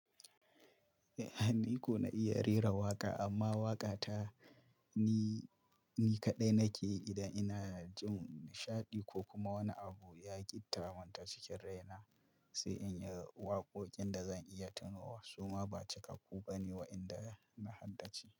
Eh, ni ko na iya rera waƙa amma waƙa ta ni, ni kaɗai nake idan ina jin nishaɗi ko kuma wani abu ya gitta mun ta cikin rai na. Sai in yi waƙoƙin da zan iya tunowa. Su ma ba cikakku ba ne waɗanda na haddace.